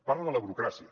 parla de la burocràcia